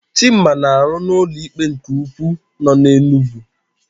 Chima na-arụ na ụlọikpe nke ukwu nọ n'Enugwu.